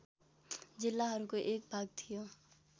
जिल्लाहरूको एक भाग थियो